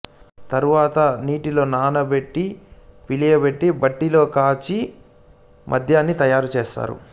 తరువాత నీటిలో నానబెట్టి పులియబెట్టి బట్టిలో కాచి ఘాటైన మద్యాన్ని తయారు చేస్తారు